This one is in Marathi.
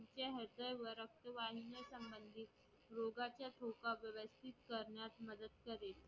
रक्तवाहिन्यांसंबंधित रोगाचा ठोका व्यवस्तीत करण्यास मदत करेल